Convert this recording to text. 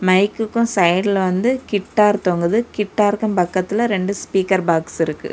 மைக்குக்கும் சைய்டுல வந்து கிட்டார் தொங்குது கிட்டார்க்கு பக்கத்துல ரெண்டு ஸ்பீக்கர் பாக்ஸ் இருக்குது.